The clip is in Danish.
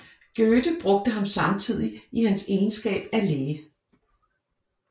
Goethe brugte ham samtidig i hans egenskab af læge